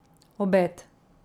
Obed.